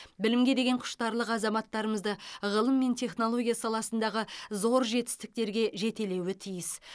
білімге деген құштарлық азаматтарымызды ғылым мен технология саласындағы зор жетістіктерге жетелеуі тиіс